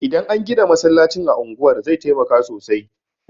Idan an gina masallacin a unguwar zai taimaka sosai